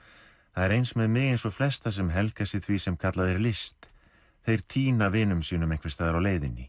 það er eins með mig eins og flesta sem helga sig því sem kallað er list þeir týna vinum sínum einhvers staðar á leiðinni